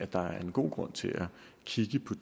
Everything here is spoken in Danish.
der er en god grund til at kigge